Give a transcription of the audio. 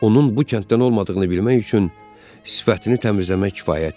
Onun bu kənddən olmadığını bilmək üçün sifətini təmizləmək kifayət idi.